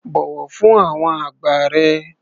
Bọ̀wọ̀ fún àwọn àgbà rẹ.